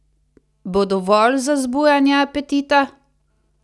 Bo dovolj za zbujanje apetita?